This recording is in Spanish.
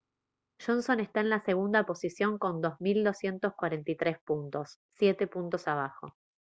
johnson está en la segunda posición con 2243 puntos siete puntos abajo